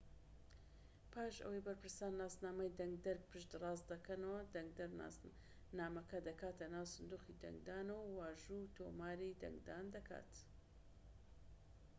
پاش ئەوەی بەرپرسان ناسنامەی دەنگدەر پشت ڕاست دەکەنەوە دەنگدەر نامەکە دەکاتە ناو سندوقی دەنگدانەوە و واژۆی تۆماری دەنگدان دەکات